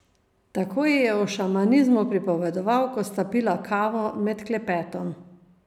Tako ji je o šamanizmu pripovedoval, ko sta pila kavo, med klepetom.